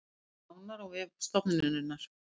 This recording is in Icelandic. Nánar á vef stofnunarinnar